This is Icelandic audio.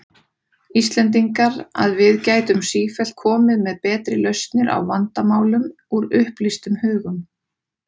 Íslendingar, að við gætum sífellt komið með betri lausnir á vandamálum, úr upplýstum hugum.